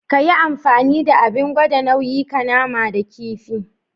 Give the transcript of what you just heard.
Kayi amfani da Abin gwada nauyi ka nama da kifi.